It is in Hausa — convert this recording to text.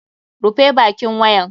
Rufe bakin wayan!